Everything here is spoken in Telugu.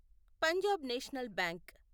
Punjab national bank